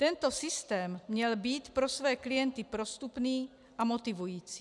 Tento systém měl být pro své klienty prostupný a motivující.